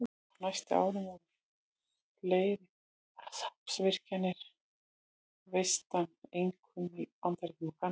Á næstu árum voru fleiri vatnsaflsvirkjanir reistar, einkum í Bandaríkjunum og Kanada.